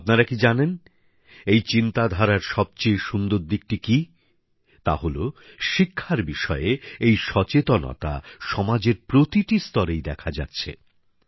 আপনারা কি জানেন এই চিন্তাধারার সবচেয়ে সুন্দর দিকটি কী তা হলো শিক্ষার বিষয়ে এই সচেতনতা সমাজের প্রতিটি স্তরেই দেখা যাচ্ছে